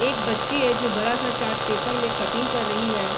एक बच्ची है जो बड़ा सा चार्ट पेपर में कटिंग कर रही है।